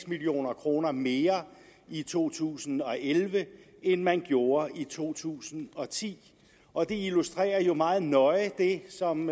million kroner mere i to tusind og elleve end man gjorde i to tusind og ti og det illustrerer jo meget nøje det som